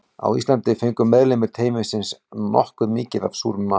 Á Íslandi fengu meðlimir teymisins nokkuð mikið af súrum mat.